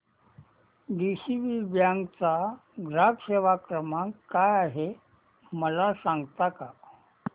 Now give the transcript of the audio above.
DCB bank चा ग्राहक सेवा क्रमांक काय आहे मला सांगता का